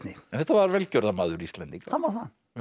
þetta var velgjörðarmaður Íslendinga hann var það